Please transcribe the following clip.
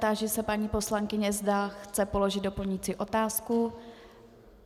Táži se paní poslankyně, zda chce položit doplňující otázku.